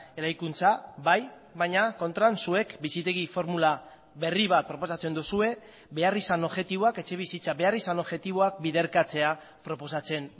eraikuntza bai baina kontran zuek bizitegi formula berri bat proposatzen duzue beharrizan objektiboak etxebizitza beharrizan objektiboak biderkatzea proposatzen